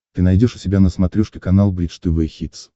ты найдешь у себя на смотрешке канал бридж тв хитс